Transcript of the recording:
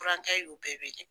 Burankɛ y'u bɛɛ wele.